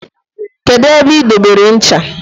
kedu ebe i dobere ncha?